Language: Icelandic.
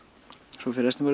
svo fer restin bara